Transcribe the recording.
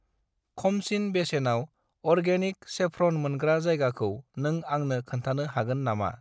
खमसिन बेसेनाव organic saffron मोनग्रा जायगाखौ नों आंनो खोन्थानो हागोन नामा?